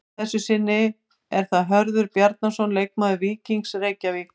Að þessu sinni er það Hörður Bjarnason leikmaður Víkings Reykjavík.